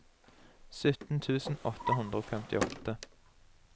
sytten tusen åtte hundre og femtiåtte